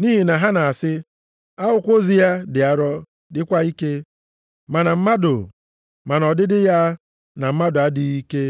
Nʼihi na ha na-asị, “Akwụkwọ ozi ya dị arọ dịkwa ike, ma na mmadụ, ma nʼọdịdị ya na mmadụ adịghị ike,